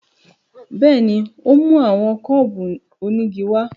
Bẹ́ẹ̀ni, o mu awọn kúbú onigi wa